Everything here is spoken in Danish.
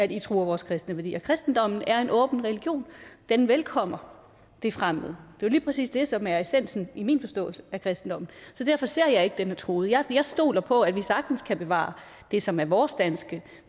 de truer vores kristne værdier kristendommen er en åben religion den velkommer det fremmede det er jo lige præcis det som er essensen i min forståelse af kristendommen så derfor ser jeg ikke den er truet jeg stoler på at vi sagtens kan bevare det som er vores danske